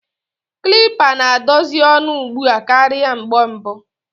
Kilipa na-adazi onu ugbua karia mgbe mbu.